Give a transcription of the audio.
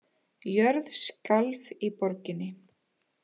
Jörð skalf í borginni